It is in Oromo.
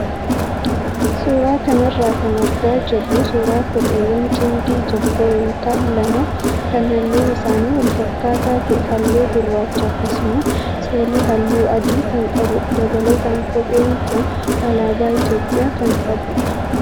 Suuraa kanarraa kan argaa jirru suuraa kopheewwan cimdii tokkoo yookaan lama kan halluun isaanii wal fakkaataa ta'ee, halluu gurraacha akkasumas soolii halluu adii kan qabudha. Dabalataan kopheen kun alaabaa Itoophiyaa ka qabudha.